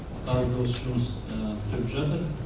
қазір осы жұмыс жүріп жатыр